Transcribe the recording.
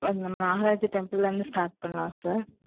அங்க வந்து, நாகராஜா temple ல இருந்து start பண்ணலாம் sir